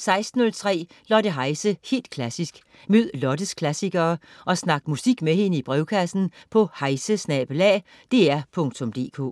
16.03 Lotte Heise, helt klassisk. Mød Lottes klassikere og snak musik med hende i brevkassen på heise@dr.dk